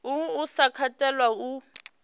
uhu u sa katelwa hu